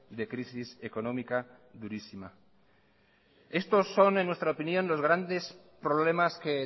de crisis económica durísima estos son en nuestra opinión los grandes problemas que